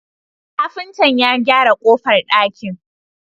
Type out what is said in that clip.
Kafinta ya gyara kofar dakin